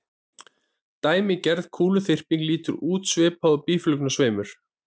Dæmigerð kúluþyrping lítur út svipað og býflugnasveimur.